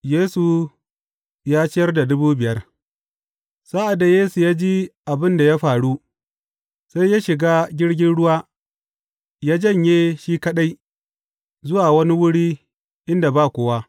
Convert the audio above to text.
Yesu ya ciyar da dubu biyar Sa’ad da Yesu ya ji abin da ya faru, sai ya shiga jirgin ruwa ya janye shi kaɗai zuwa wani wuri inda ba kowa.